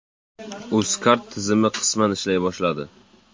Uzcard tizimi qisman ishlay boshladi.